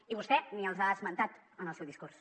i vostè ni els ha esmentat en el seu discurs